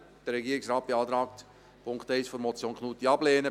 Der Regierungsrat beantragt, den Punkt 1 der Motion Knutti abzulehnen.